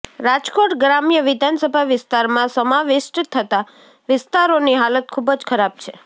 રાજકોટ ગ્રામ્ય વિધાનસભા વિસ્તારમાં સમાવિષ્ટ થતા વિસ્તારોની હાલત ખૂબ જ ખરાબ છે